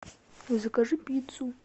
закажи пиццу